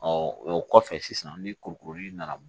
o kɔfɛ sisan ni kuruli nana